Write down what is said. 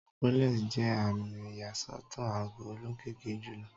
Rolex jẹ ami iyasọtọ aago olokiki julọ